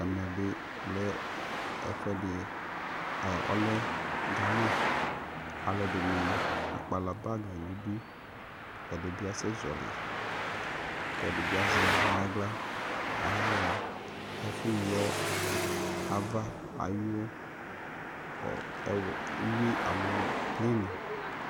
Ɛmɛbɩ lɛ gana alʊedɩnɩ akpala bagɩ nʊ ɩdʊ ɛdɩbɩ asɛzɔlɩ kʊ edɩbɩ azɛ nʊ aɣla ayaɣa ɛfʊyɔ ava ayʊ ɩwo alo plen